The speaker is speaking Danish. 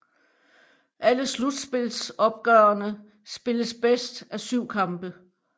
Alle slutspilsopgørene spilles bedst af syv kampe